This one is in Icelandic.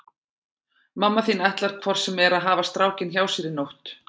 Mamma þín ætlar hvort sem er að hafa strákinn hjá sér í nótt.